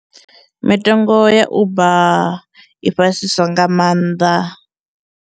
Mitengo ya Uber i fhasisa nga maanḓa.